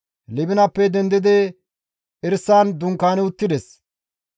Libinappe dendidi Erisan dunkaani uttides.